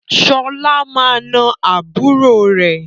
Sọlá máa na àbúrò rẹ